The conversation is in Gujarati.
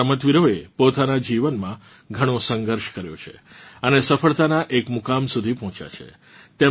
આ રમતવીરોએ પોતાનાં જીવનમાં ઘણો સંઘર્ષ કર્યો છે અને સફળતાનાં આ મુકામ સુધી પહોચ્યા છે